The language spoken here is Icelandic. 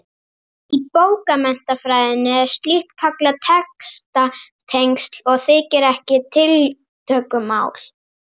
Í bókmenntafræðinni er slíkt kallað textatengsl og þykir ekki tiltökumál.